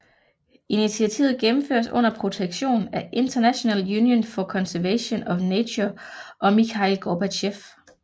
Initiativet gennemføres under protektion af International Union for Conservation of Nature og Mikhail Gorbachev